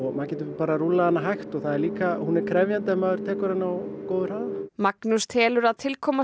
maður getur rúllað hana hægt og hún er krefjandi ef maður tekur hana á góðum hraða Magnús telur að tilkoma